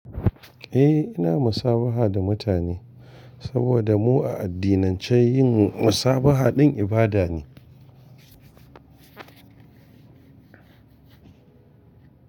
Eh ina musabaha da mutane saboda mu a addinance yin musabaha din ibada ne.